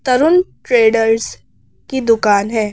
तरुण traders की दुकान है।